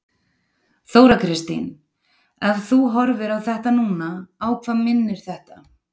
Þóra Kristín: Ef þú horfir á þetta núna, á hvað minnir þetta?